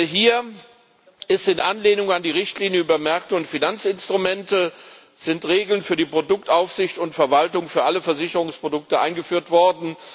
Hier sind in Anlehnung an die Richtlinie über Märkte und Finanzinstrumente Regeln für die Produktaufsicht und verwaltung für alle Versicherungsprodukte eingeführt worden.